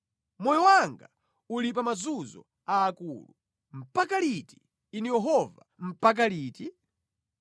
Moyo wanga uli pa mazunzo aakulu. Mpaka liti, Inu Yehova, mpaka liti?